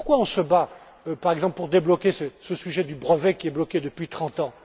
Pourquoi se bat on, par exemple, pour débloquer ce sujet du brevet qui est bloqué depuis trente ans?